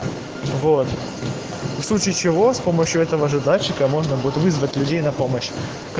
вот устойчиво с помощью этого же дальше комунбуд вызвать людей на помощь